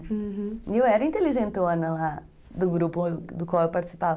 E eu era inteligentona lá do grupo do qual eu participava.